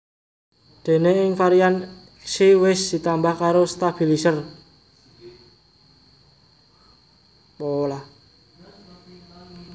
Déné ing varian Xi wis ditambah karo stabilizer